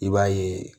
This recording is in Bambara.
I b'a ye